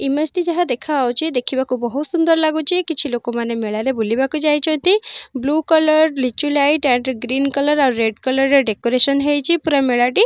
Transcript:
image ଟି ଯାହା ଦେଖାହା ହଉଛି ଦେଖିବାକୁ ବହୁତ ସୁନ୍ଦର ଲାଗୁଛି କିଛି ଲୋକମାନେ ମେଳାରେ ବୁଲିବାକୁ ଯାଇଛନ୍ତି ବ୍ଲୁ କଲର ଲିଚୁ ଲାଇଟ ଏଣ୍ଡ ଗ୍ରୀନ କଲର ର ରେଡ କଲର ର ଡେକୋରେସନ ହେଇଛି ପୁରା ମେଳାଟି ବହୁତ ସାରା--